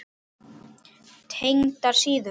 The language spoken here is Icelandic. Tengdar síður